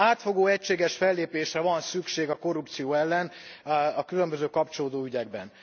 Átfogó, egységes fellépésre van szükség a korrupció ellen a különböző kapcsolódó ügyekben.